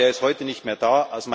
Aber er ist heute nicht mehr da.